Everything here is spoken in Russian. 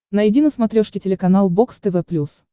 найди на смотрешке телеканал бокс тв плюс